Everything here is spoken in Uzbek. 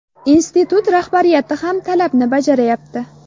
Institut rahbariyati ham talabni bajarayapti.